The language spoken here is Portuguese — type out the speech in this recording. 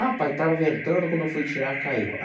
Ah, pai, estava ventando, quando eu fui tirar, caiu.